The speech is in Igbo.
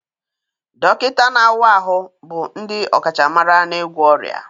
Dọkịta na-awa ahụ bụ ndị ọkachamara n'ịgwọ ọrịa